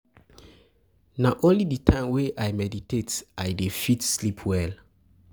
Na only di time wey I meditate I dey fit sleep well.